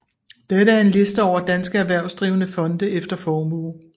Dette er en liste over danske erhvervsdrivende fonde efter formue